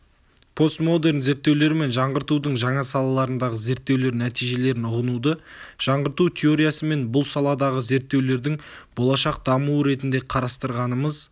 постмодерн зерттеулері мен жаңғыртудң жаңа салаларындағы зерттеулер нәтижелерін ұғынуды жаңғырту теориясы мен бұл саладағы зерттеулердің болашақ дамуы ретінде қарастырғанымыз